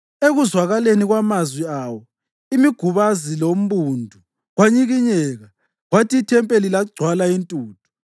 Ekuzwakaleni kwamazwi awo imigubazi lombundu kwanyikinyeka, kwathi ithempeli lagcwala intuthu.